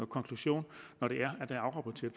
konklusion